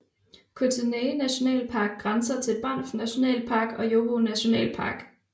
Kootenay nationalpark grænser til Banff National Park og Yoho National Park